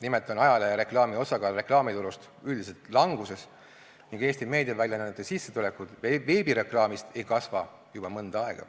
Nimelt on ajalehereklaami osakaal reklaamiturus üldiselt languses ning Eesti meediaväljaannete sissetulekud veebireklaamist ei kasva juba mõnda aega.